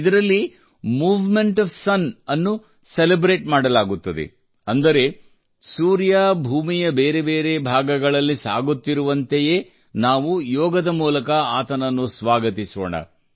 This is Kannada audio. ಇದರಲ್ಲಿ ಮೂವ್ಮೆಂಟ್ ಒಎಫ್ ಸುನ್ ಅನ್ನು ಸೆಲೆಬ್ರೇಟ್ ಮಾಡಲಾಗುತ್ತದೆ ಅಂದರೆ ಸೂರ್ಯ ಭೂಮಿಯ ಬೇರೆ ಬೇರೆ ಭಾಗಗಳಲ್ಲಿ ಸಾಗುತ್ತಿರುವಂತೆಯ ನಾವು ಯೋಗದ ಮೂಲಕ ಆತನನ್ನು ಸ್ವಾಗತಿಸೋಣ